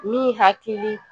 Min hakili